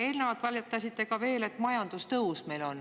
Eelnevalt valetasite veel ka, et meil on majandustõus.